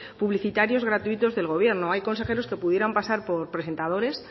publicitarios gratuitos del gobierno hay consejeros que pudieran pasar por presentadores